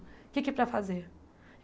O que é que é para fazer?